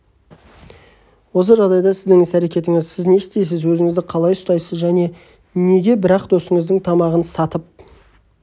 осы жағдайда сіздің іс-әрекетіңіз сіз не істейсіз өзіңізді қалай ұстайсыз және неге бірақ досыңыздың тамақ сатып